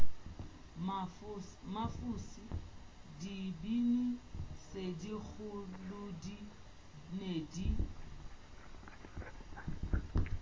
mafose dibini tsekgolodi ne di